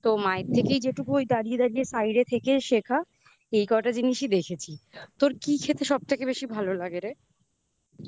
তো মায়ের থেকেই যেটুকু ওই দাঁড়িয়ে দাঁড়িয়ে side থেকে শেখা এই কটা জিনিসই দেখেছি তোর কি খেতে সব থেকে বেশি ভালো লাগে রে